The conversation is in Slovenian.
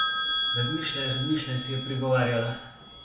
Razmišljaj, razmišljaj, si je prigovarjala.